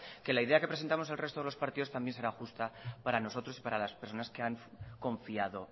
que la idea que presentamos el resto de los partidos también será justa para nosotros y para las personas que han confiado